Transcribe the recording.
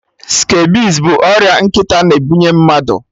Scabies bụ ọrịa nkịta na-ebunye mmadụ